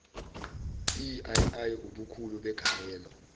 iii ubukhulu begalelo